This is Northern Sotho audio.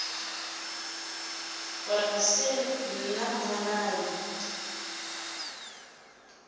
gore ga se nna mmolai